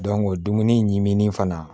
dumuni ɲimi fana